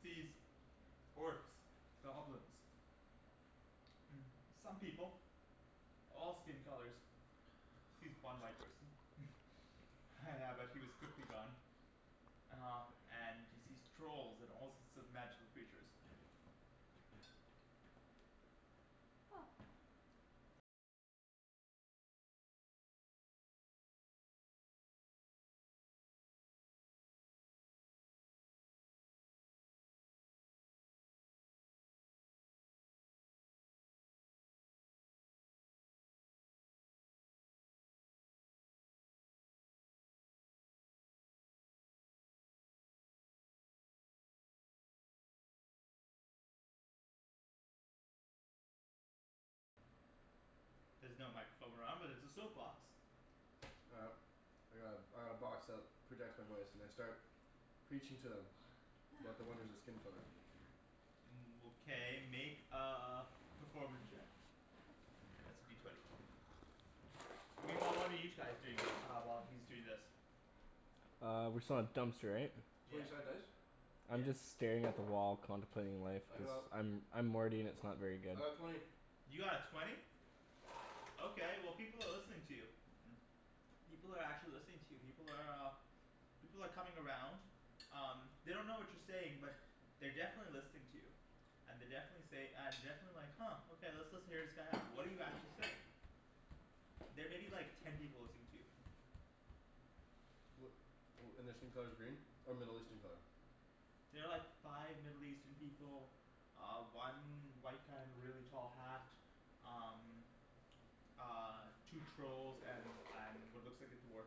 He sees orcs, goblins some people. All skin colors. Sees one white person. Yeah but he was quickly gone. Uh and he sees trolls and all sorts of magical creatures. There's no microphone around but there's a soap box. All right. I got a I got a box that projects my voice and I start preaching to them about the wonders of skin color. Okay make a performance check. That's a D twenty. Meanwhile what are you chais doing the uh while he's doing this? Uh we're still at dumpster right? Twenty Yeah. sided dice? I'm just staring at the wall contemplating life I cuz got I'm I'm Morty and it's not very good. I got twenty. You got a twenty? Okay well, people are listening to you. People are actually listening to you. People are uh People are coming around. Um, they don't know what you're saying but they're definitely listening to you. And they definitely say and definitely like "Huh okay, let's listen hear this guy out." What do you actually say? There may be like ten people listening to you. Wh- wh- and their skin color's green? Or Middle Eastern color? There are like five Middle Eastern people. Uh one white guy in a really tall hat. Um Uh two trolls and and what looks like a dwarf.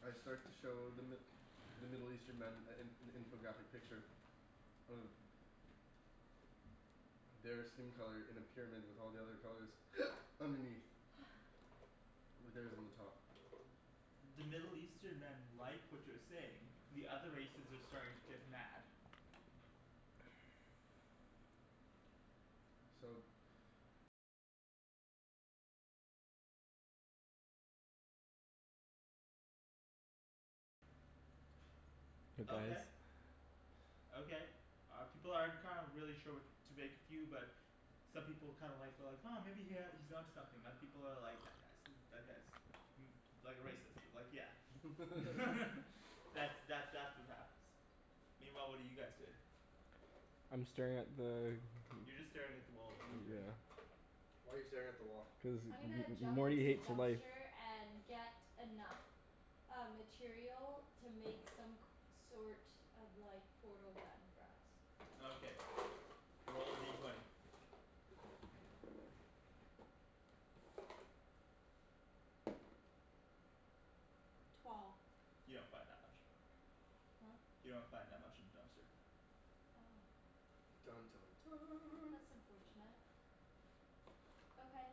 I start to show the Mi- the Middle Eastern men a an an infographic picture of their skin color in a pyramid with all the other colors underneath. With theirs on the top. The Middle Eastern men like what you're saying. The other races are starting to get mad. So Okay. Okay, uh people aren't kind of really sure what to make of you but some people kind of like well like "Huh maybe he ha- he's onto something." Other people are like "That guy's i- that guy's" "like a racist, like yeah" That's that that's what happens. Meanwhile what are you guys doing? I'm staring at the You're just staring at the wall, what are you doing? Yeah. Why are you staring at the wall? Cuz M- I'm gonna M- M- jump Morty into the hates life. dumpster and get enough uh material to make some c- sort of like portal gun for us. Okay, roll a D twenty. Twelve. You don't find that much. Huh? You don't find that much in the dumpster. Oh. Dun dun dun That's unfortunate. Okay.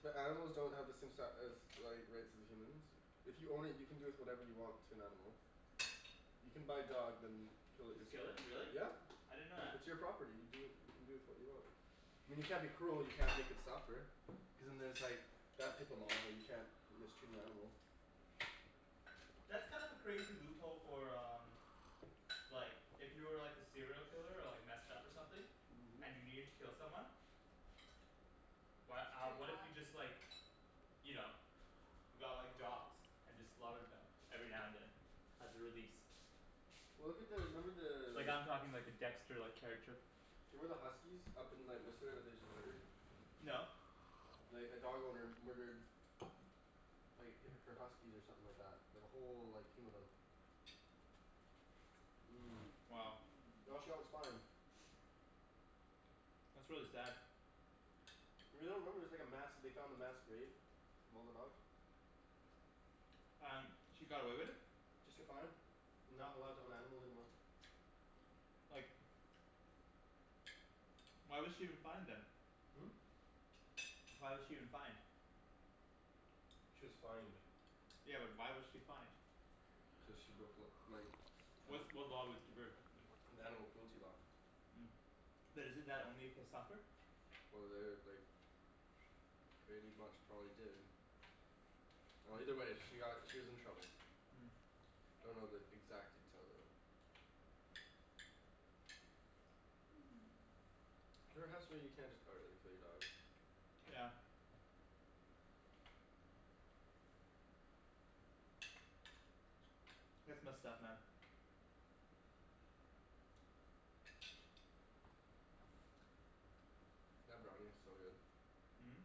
But animals don't have the same si- as like rights as the humans If you own it, you can do with whatever you want to an animal. You can buy a dog then kill it Just kill yourself. it? Really? Yeah. I didn't know that. It's your property. You do you can do with what you want. I mean you can't be cruel. You can't make it suffer. Cuz and then it's like that type of law. You can't mistreat an animal. That's kind of a crazy loophole for um Like if you were like a serial killer or like messed up or something and you needed to kill someone. Why It's uh pretty what if hot. you just like you know, got like dogs and just slaughtered them every now and then as a release? Well look at the, remember Like the I'm talking like a dexter-like character. Do you remember the huskies up in like Whistler that they just murdered? No. Like a dog owner murdered like h- her huskies or something like that. Like a whole like team of them. Mmm. Wow. And all she got was fined. That's really sad. You really don't remember, it was like a mass, they found a mass grave of all the dogs? And he got away with it? Just get fined. And not allowed to own animals anymore. Like Why was she even fined then? Hmm? Why was she even fined? She was fined. Yeah but why was she fined? Cuz she broke the like Which anima- what law was she breaking The animal cruelty law. But isn't that only if they suffer? Well, they like pretty much probably did. Well either way she got, she was in trouble. I don't know the exact details of it. There has to be you can't just outright kill your dog. Yeah. That's messed up man. That brownie's so good.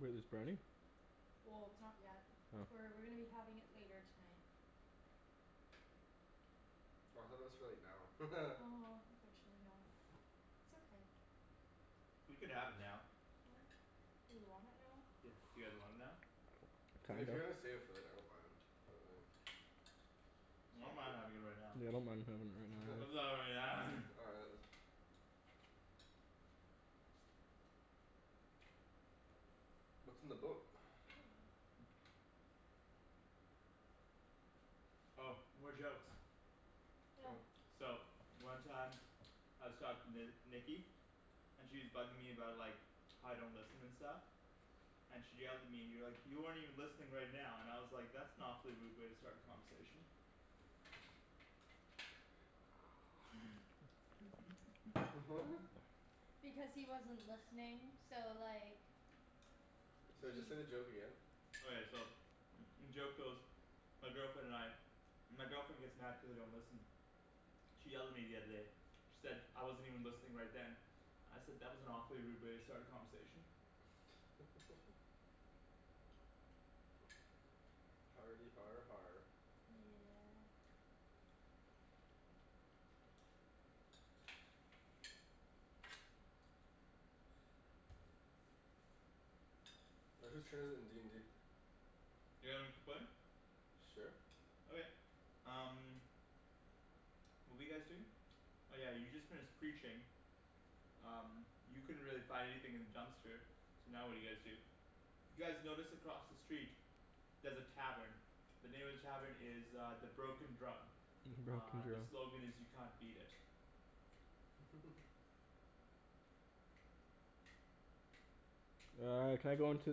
Wait, there's brownie? Well, it's not yet. Oh. We're we're gonna be having it later tonight. Oh I thought that was for like now. Oh unfortunately not. It's okay. We could have it now. Huh? Do we want it now? Yeah, you guys want it now? Mean if Kinda. you're gonna save it for later, I don't mind. But like I S'all don't mind cool. having it right now. Yeah, I don't mind havin' it right now. All right let's What's in the book? Oh, more jokes. Yeah. Oh. So one time I was talking to Nikki and she's bugging me about like how I don't listen and stuff. And she yelled at me and you're like "You aren't even listening right now" and I was like "That's an awfully rude way to start a conversation." What? Because he wasn't listening. So like Sorry, just say the joke again? Okay so joke goes My girlfriend and I, my girlfriend gets mad cuz I don't listen. She yelled at me the other day. She said I wasn't even listening right then. I said "That was an awfully rude way to start a conversation." Hardy har har Yeah. All right, whose turn is it in d n d? You guys wanna keep playing? Sure. Okay, um What were you guys doing? Oh yeah, you just finished preaching. Um you couldn't really find anything in the dumpster. So now what do you guys do? You guys notice across the street there's a tavern. The name of the tavern is uh "The Broken Drum." Broken Uh the drill. slogan is "You can't beat it." Uh can I go into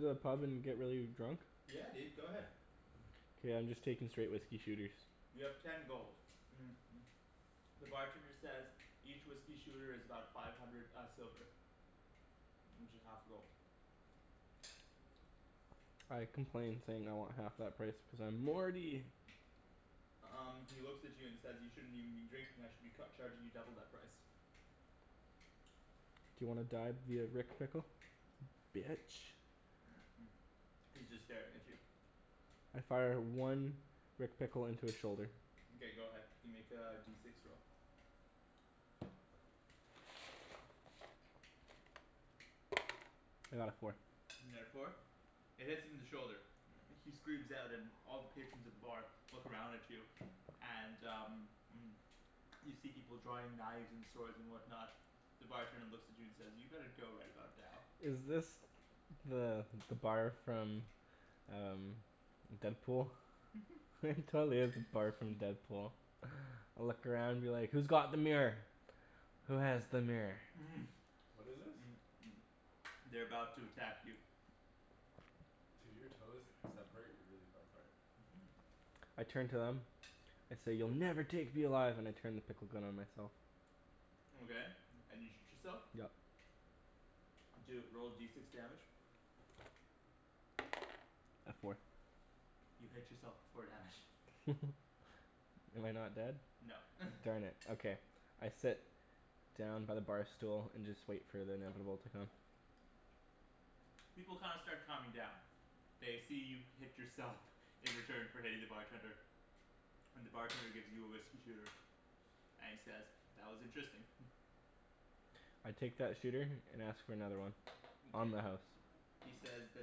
the pub and get really drunk? Yeah dude, go ahead. K, I'm just taking straight whiskey shooters. You have ten gold The bartender says "Each whiskey shooter is about five hundred uh silver. Which is half a gold. I complain saying I want half that price cuz I'm Morty! Um he looks at you and says "You shouldn't even be drinking, I should be cu- charging you double that price." D'you wanna die via Rick Pickle? Bitch. He's just staring at you. I fire one Rick Pickle into his shoulder. Mkay go ahead. You can make a D six roll. I got a four. You got a four? It hits him in the shoulder. He screams out and all the patrons at the bar look around at you and uh You see people drawing knives and swords and whatnot. The bartender looks at you and says "you better go right about now." Is this the the bar from uh Deadpool? It totally is the bar from Deadpool. Look around and be like "Who's got the mirror? Who has the mirror?" What is this? They're about to attack you. Dude, your toes separate really far apart. Mhm. I turn to them, I say "You'll never take me alive!" and I turn the pickle gun on myself. Okay, and you shoot yourself? Yep. Do a, roll D six damage. A four. You hit yourself for four damage. Am I not dead? No Darn it, okay. I sit down by the bar stool and just wait for the inevitable to come. People kinda start calming down. They see you hit yourself. In return for hitting the bartender. And the bartender gives you a whiskey shooter and he says "That was interesting" I take that shooter and ask for another one on Mkay, the house. he says "The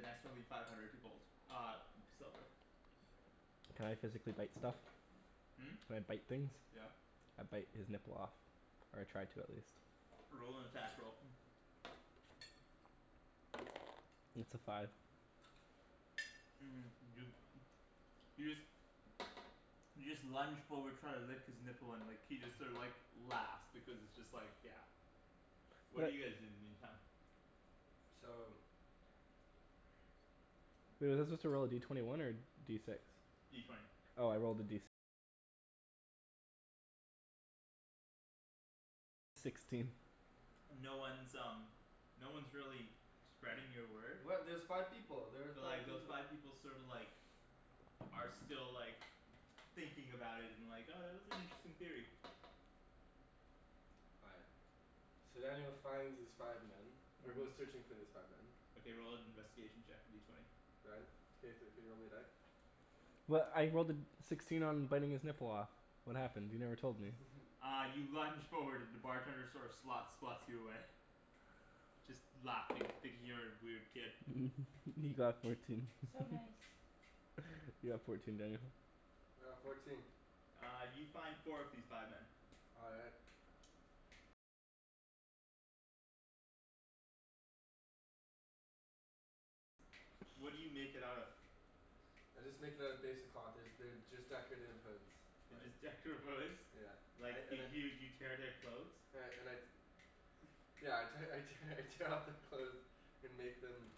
next one will be five hundred gold uh silver." Can I physically bite stuff? Hmm? Can I bite things? Yeah. I bite his nipple off. Or I try to at least. Roll an attack roll It's a five. you you just you just lunge forward try to lick his nipple and like he just sort of like laughs because it's just like yeah What do What? you guys do in the meantime? So Was he supposed to roll a D twenty one or D six? D twenty. No one's um no one's really spreading your word. What? There's five people! There were But like five peop- those five people sorta like are still like thinking about it and like "Oh that was an interesting theory." All right. So then he'll finds these five men. Or goes Mhm. searching for these five men Okay, roll an investigation check, a D twenty. Ryan? Can you thr- can you roll me a die? Well I rolled a sixteen on biting his nipple off. What happened? You never told me. Uh you lunge forward and the bartender sort of slots slots you away. Just laughing, thinking you're a weird kid. He got fourteen So nice. You got fourteen, Daniel. All right, fourteen. Uh you find four of these five men. All right. I just make it out of basic cloth. There's they're just decorative hoods, They're like just decorative hoods? Yeah. Like I and y- I y- you tear their clothes? and I and I Yeah I te- I tear I tear off their clothes and make them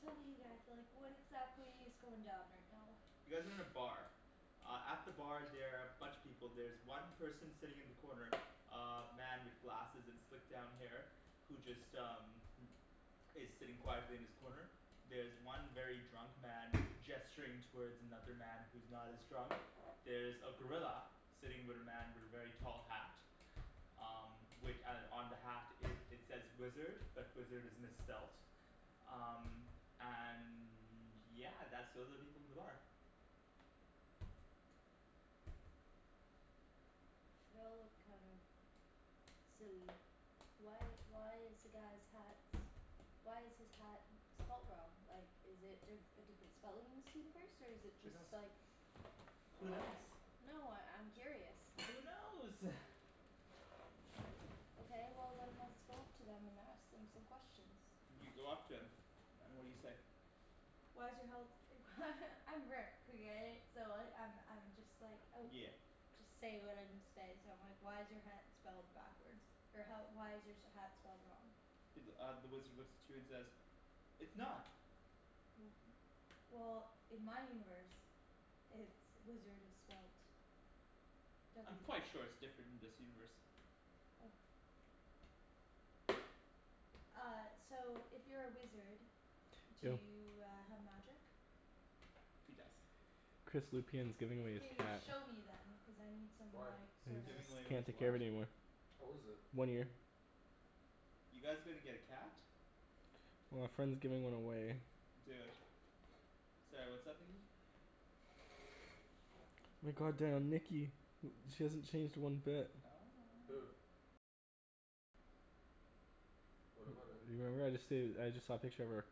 Tell me you guys like what exactly is going down right now? You guys are in a bar. Uh at the bar there are a bunch of people. There's one person sitting in the corner uh man with glasses and slicked down hair who just um is sitting quietly in his corner. There's one very drunk man gesturing towards another man who's not as drunk. There's a gorilla. Sitting with a man with a very tall hat. Um wi- on the hat it says wizard, but wizard is misspelt. Um and yeah, that's all the people in the bar. They all look kind of silly. Why why is the guy's hat, why is his hat spelt wrong? Like is it di- a different spelling in this universe? Or is it Who knows? just like Who knows? No, I I'm curious. Who knows? Okay well then let's go up to them and ask them some questions. You go up to him and what do you say? Why is your health I'm Rick okay? So I I'm I'm just like oh Yeah. Just say what I need to say so I'm like "Why is your hat spelled backwards, or how why is your hat spelled wrong?" He th- uh the wizard looks at you and says "It's not!" W- Well in my universe it's, wizard is spelt w I'm quite sure it's different in this universe. Oh. Uh so if you're a wizard, do Dill. you uh have magic? He does. Chris Lupian is giving away his Can you cat. show me then? Cuz I need some Why? like sorta Giving away Just with can't take care what? of it anymore. How old is it? One year. You guys gonna get a cat? Well a friend's giving one away. Do it. Sorry, what's up Nikki? My god damn Nikki, she hasn't changed one bit. Who? What about her? You remember I just said I just saw a picture of her.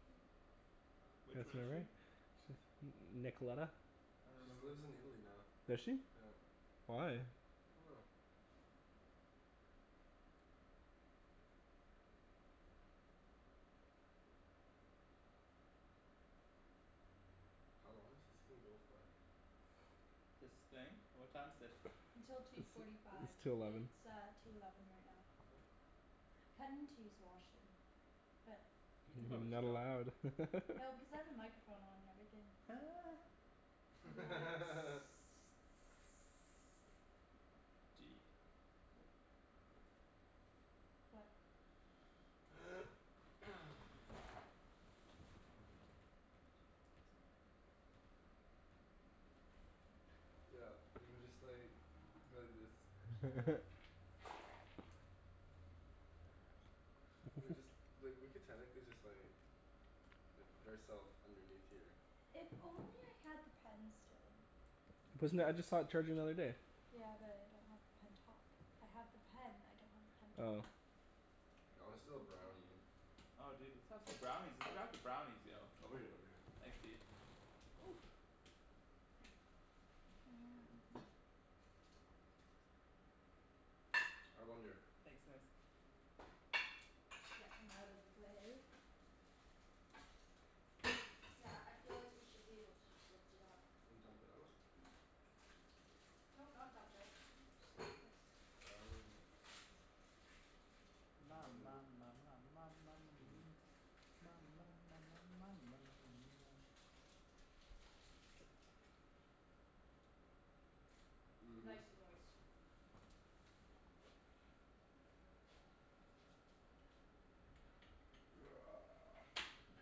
Which That's one her is she? right? N- Nicolena? I don't She's remember. lives in Italy now. Does she? Yeah. Why? I dunno. How long does this thing go for? This thing? What time is it? Until two forty It's five. two eleven. It's uh two eleven right now. Kinda need to use the washroom but You can probably just Not go. allowed. No because I have a microphone on and everything. I'd be like What? Yeah, we can just like go like this. Chill. We could just like, we could technically just like like put ourself underneath here. If only I had the pen still. Wasn't that, I just saw it charging the other day. Yeah but I don't have the pen top. I have the pen, I don't have the pen Oh. top. I wanna steal a brownie. Oh dude let's have some brownies. Let's have some brownies, yo. Oh Ryan over here. Thanks dude. And I wonder Thanks Nikks. Get them out of the way. Yeah, I feel like we should be able to just lift it up. And dump it out? No, not dump it. Just go like this. Oh Ma Lovely. ma ma ma ma ma ma ma mia ma ma ma ma ma ma ma ma mia. Mhm. Nice and moist. It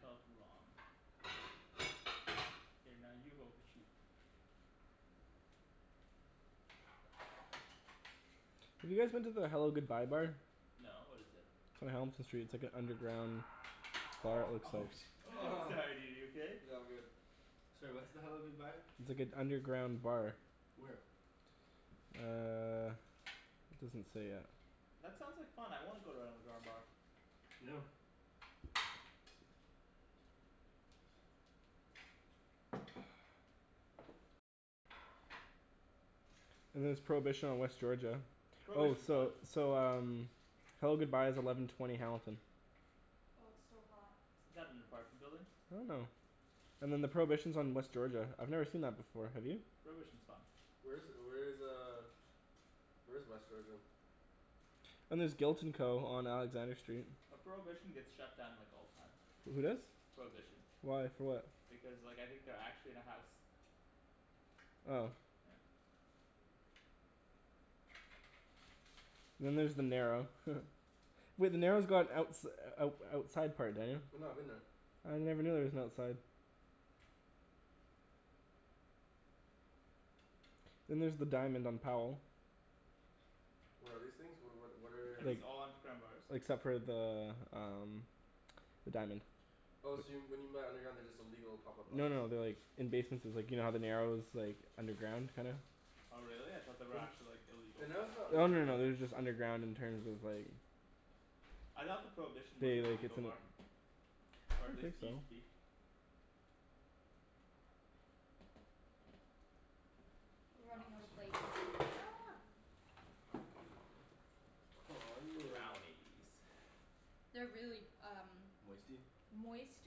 felt wrong. Here now you hold the sheep. Have you guys been to the Hello Goodbye Bar? No, what is it? On Hamilton Street. It's like an underground bar, it looks Oh like. shi- Sorry dude, are you okay? Yeah, I'm good. Sorry, what's the Hello Goodbye? Like an underground bar. Where? Uh, it doesn't say yet. That sounds like fun, I wanna go to an underground bar. Yeah. And there's Prohibition on West Georgia. Oh, Prohibition's fun. so so um Hello Goodbye is eleven twenty Hamilton. Well it's still hot. Isn't that an apartment building? I don't know. And then the Prohibition is on West Georgia. I've never seen that before, have you? Prohibition's fun. Where is where is uh where is West Georgia? And there's Guilt and Co. on Alexander Street. Well Prohibition gets shut down like all the time. Who does? Prohibition. Why? For what? Because like I think they're actually in a house. Oh. Yeah. Then there's The Narrow Wait The Narrow's got outs- out outside part, Daniel. I know, I've been there. I never knew there was an outside. Then there's the Diamond on Powell. What are these things? What what what Are are Like these all underground bars? except for the um The Diamond. Oh so when you meant underground, they're just illegal pop up No bars no no they're like in basementses. Like you know how the Narrow is like underground, kinda? Oh really? I thought they were actually like illegal The Narrow's pot not bars. Oh no no underground. no they're just underground in terms of like I thought the Prohibition was They an like it's illegal an bar. Or at I least think it so. used to be. We're running out of plates. Aw yeah. Brownies. They're really um Moisty? moist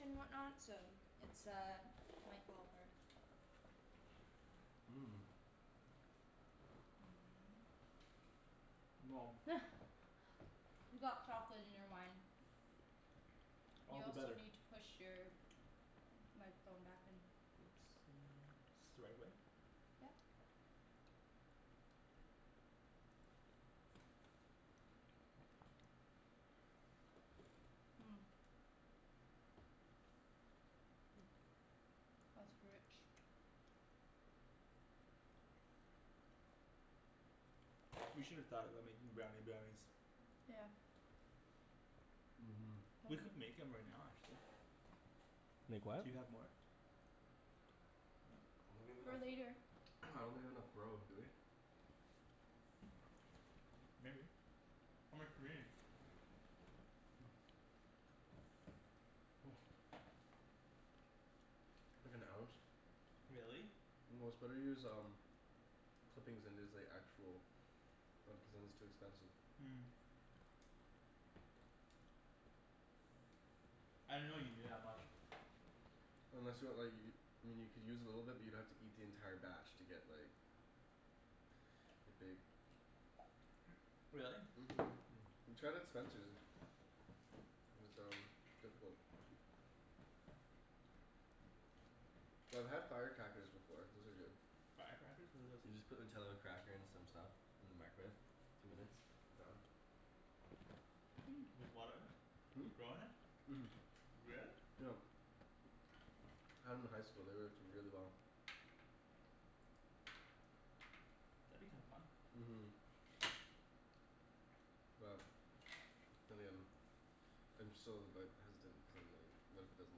and whatnot, so it's uh might fall apart. Mmm. You got chocolate in your wine. All You the also better. need to push your microphone back in. Oopsie. Is this the right way? Yeah. Yep. That's rich. We should've thought about making brownie brownies. Yeah. Mhm. We could make 'em right now actually. Make what? Do you have more? I don't have For enough, later. I don't have enough grow, do we? Maybe. How much do we need? Like an ounce. Really? Well it's better to use um clippings than it is like actual, cuz then it's too expensive. I didn't know you needed that much. Unless you want like y- I mean you could use a little bit but you'd have to eat the entire batch to get like get baked. Really? Mhm. We tried at Spencer's. It was um difficult. Yo I've had firecrackers before. Those are good. Firecrackers? What are those? You just put Nutella cracker and some stuff in the microwave. Two minutes. Done. With what in it? Hmm? With grow in it? Mhm. Really? Yep. Had 'em in high school, they worked really well. That'd be kinda fun. Mhm. Well, then again I'm so like hesitant, cuz I'm like what if it doesn't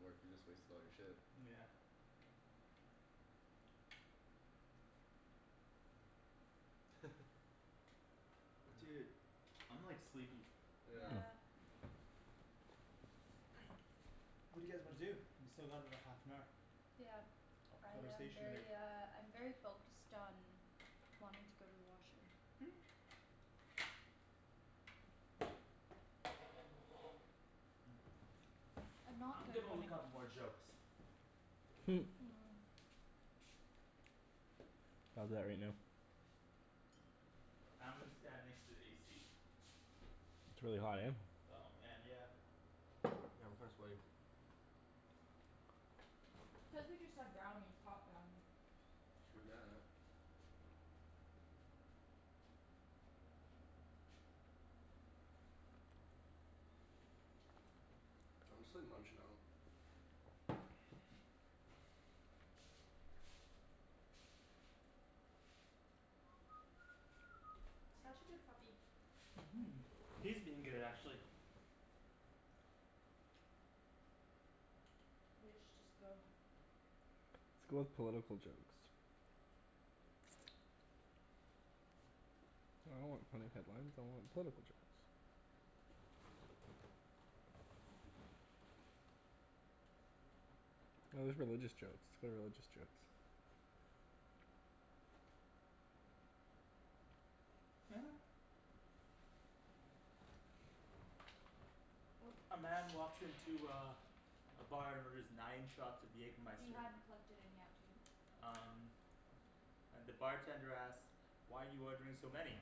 work? You just wasted all your shit. Yeah. Dude, I'm like sleepy. Yeah. Yeah. What do you guys wanna do? We still got another half an hour. Yeah. Of I am conversation to make. very uh I'm very focused on wanting to go to the washroom. I'm not I'm good gonna when look it up more jokes. I'll do that right now. I'm gonna stand next to the AC. It's really hot, eh? Oh man, yeah. Yeah, I'm kinda sweaty. Cuz we just had brownies, hot brownies. True that. I'm just like munchin' out. Such a good puppy. Mhm, he's been good actually. You guys should just go. Let's go with political jokes. I don't want funny headlines, I want political jokes. Oh there's religious jokes. Let's go with religious jokes. A man walks into uh a bar and orders nine shots of You Jaegermeister. hadn't plugged it in yet, dude. Um And the bartender asks, "Why are you ordering so many?"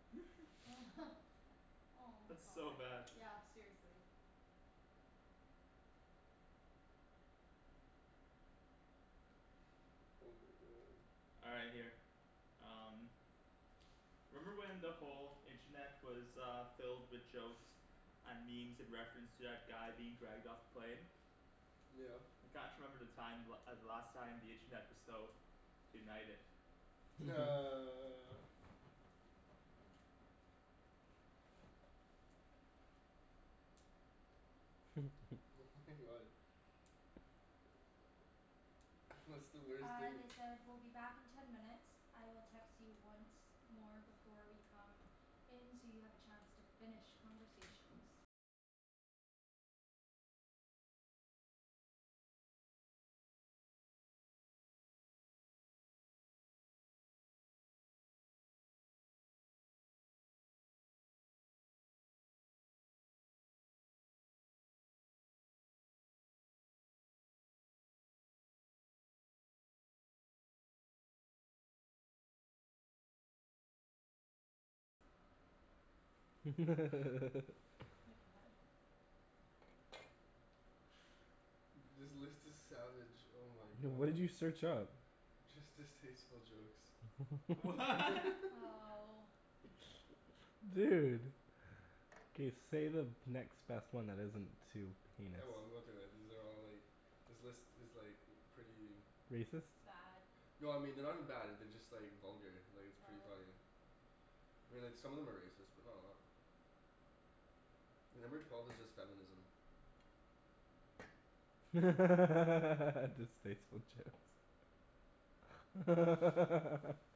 Oh my That's so bad. god. Yeah, seriously. Oh my god. All right, here. Um. Remember when the whole internet was uh filled with jokes and memes in reference to that guy being dragged off the plane? Yeah. I can't remember the time the la- the last time the internet was so united. What's the worst Uh thing they said "We'll be back in ten minutes. I will text you once more before we come in so you have a chance to finish conversations." This list is savage, oh my What did god. you search up? Just distasteful jokes. Wha? Oh. Dude. K, say the next best one that isn't too heinous. Oh well I'm gonna throw it, these are all like, this list is like pretty Racist? Bad. No I mean they're not even bad, they're just like vulgar, like it's pretty Oh. funny. I mean like some of them are racist, but not a lot. Like number twelve is just feminism. Distasteful jokes.